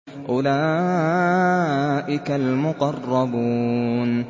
أُولَٰئِكَ الْمُقَرَّبُونَ